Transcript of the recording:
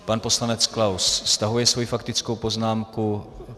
Pan poslanec Klaus stahuje svoji faktickou poznámku.